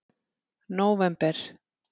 nóvember